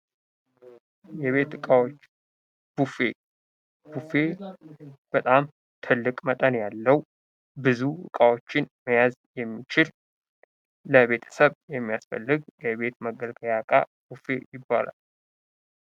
የቤት ዕቃዎች ቡፌ ፡-ቡፌ በጣም ትልቅ መጠን ያለው ብዙ እቃዎችን መያዝ የሚችል ለቤተሰብ የሚያስፈልግ የቤት መገልገያ ዕቃ ቡፌ ይባላል።